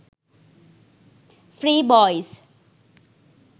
free boys